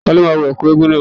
Ta ló máa wọ Ẹ̀kú eégún náà.